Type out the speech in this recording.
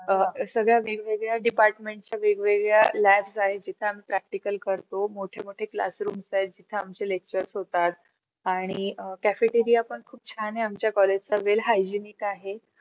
अह सगळे department च्या वेगवेगळ labs आहे त्या practical करतो मोठमोठे classroom जिथे आमचे lectures होतात. आरणि cafeteria पण खूप छान आहे. आमच्या college चा well hygienic आहे.